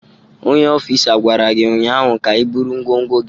Onye ofịsa gwara gị ụnyaahụ ka iburu ngwongwo gị!